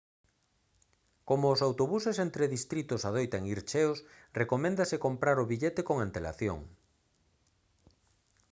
como os autobuses entre distritos adoitan ir cheos recoméndase comprar o billete con antelación